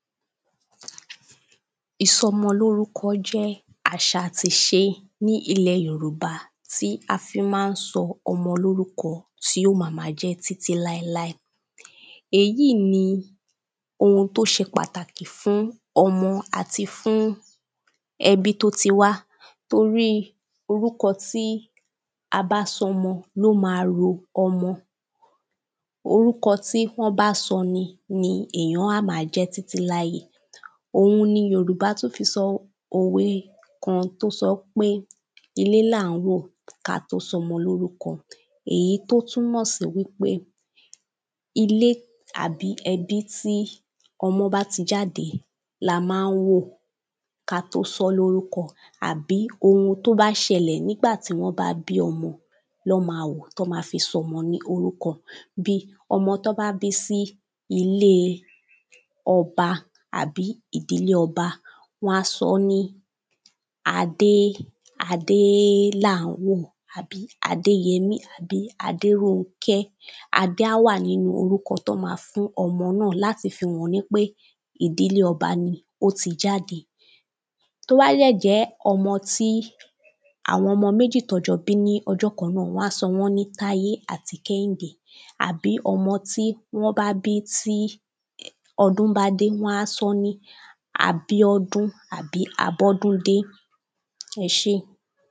ìsọmọ lórúkọ jẹ́ àṣà àti ìse ní ilẹ̀ Yorùbá tí an fí n má n sọ ọmọ lórúkọ tí ó ma ma jẹ́ títí láíláí, èyíì ní oun tí ó se pàtàkì fún ọmọ àti fún ẹbí tó ti wá torí orúkọ tí a bá sọ ọmọ, ló ma ro ọmọ, orúkọ tí wọ́n bá sọ ni, ni èyàn á ma jẹ́ títí láíyé, òun ni Yorùbá tún fi sọ òwe kan tí ó sọ pé ilé là ń wò kí a tó sọ ọmọ lórúkọ, èyí tó túnmọ̀ sí wípé ilé tàbí ẹbí tí ọmọ bá ti jáde la má n wò ka tó sọ ọ́ lórúkọ àbí oun tó bá sẹlẹ̀ nìgbà tí wọ́n bá bí ọmọ lọ́ ma wò tí wọ́n ma fi sọ ọmọ lórúkọ bíi ọmọ tí wọ́n bá bí sí ilé ọba àbí ìdílé ọba wọ́n á sọ ní Adé, Adélàńwò, àbí Adéyẹmí àbí Adérọnkẹ́, Adé á wà nínu orúkọ tí wọ́n ma fún omo náà láti fi hàn wípé ìdílé ọba ni ó ti jáde, tó bá dẹ̀ jẹ́ ọmọ tí àwọn ọmọ méjì tí wọ́n jọ bí ní ọjọ kan náà, wọ́n á sọ wọ́n ní Táíyé àti Kẹ́hìndé àbí ọmọ tí wọ́n bá bí tí ọdún bá dé wọ́n á sọ ọ́ ní Abíọ́dún tàbí Abọ́dúndé ẹsé.